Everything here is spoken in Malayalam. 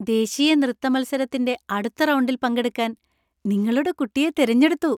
ദേശീയ നൃത്തമത്സരത്തിന്‍റെ അടുത്ത റൗണ്ടിൽ പങ്കെടുക്കാൻ നിങ്ങളുടെ കുട്ടിയെ തിരഞ്ഞെടുത്തു.